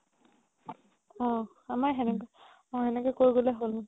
অ আমাৰ অ সেনেকে কৰিবলৈ